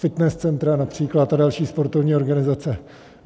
Fitness centra například a další sportovní organizace.